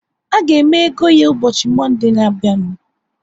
A ga-eme ego ya ụbọchị Monde na abịa nu